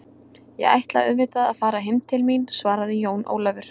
Ég ætla auðvitað að fara heim til mín, svaraði Jón Ólafur.